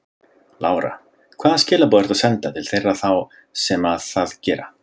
Lára: Hvaða skilaboð ertu að senda til þeirra þá sem að það gera?